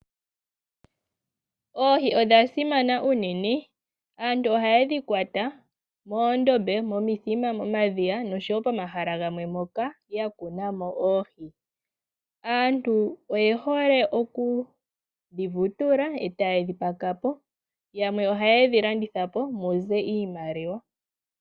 Oohi odha simana unene. Aantu oha ye dhi kwata, moondombe, momithima, momadhiya osho woo pomahala gamwe moka ya kuna mo oohi. Aantu oye hole oku dhi vutula ee ta ye dhi paka po, yamwe oha ye dhi landitha po muze iimaliwa.